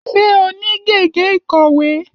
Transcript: Ṣé o ní gègé ìkọ̀wé?